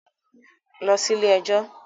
Lọ sí ilé-ẹjọ̀